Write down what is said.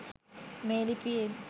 මේ ලිපියෙන්